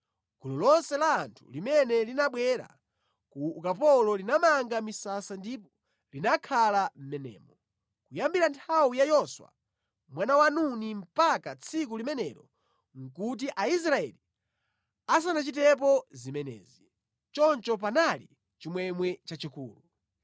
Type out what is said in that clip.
Gulu lonse la anthu limene linabwera ku ukapolo linamanga misasa ndipo linakhala mʼmenemo. Kuyambira nthawi ya Yoswa mwana wa Nuni mpaka tsiku limenelo nʼkuti Aisraeli asanachitepo zimenezi. Choncho panali chimwemwe chachikulu.